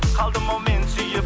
қалдым ау мен сүйіп